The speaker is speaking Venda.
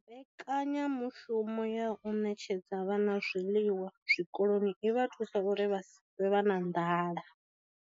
Mbekanyamushumo ya u ṋetshedza vhana zwiḽiwa zwikoloni i vha thusa uri vha si ṱwe na nḓala